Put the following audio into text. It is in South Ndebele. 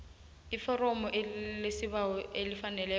iforomo lesibawo elifaneleko